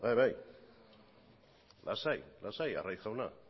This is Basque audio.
bai bai lasai lasai arraiz jauna